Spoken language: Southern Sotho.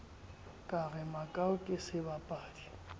ka re makau ke sebapadi